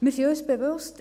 Wir sind uns bewusst: